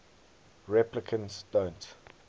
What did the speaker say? replicants don't